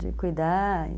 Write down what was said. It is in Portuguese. De cuidar.